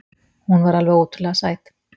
Hún var alveg ótrúlega sæt.